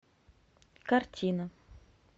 картина